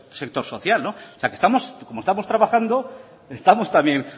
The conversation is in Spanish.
sector social como estamos trabajando estamos también